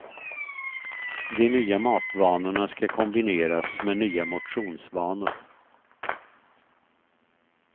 De nya matvanorna ska kombineras med nya motionsvanor.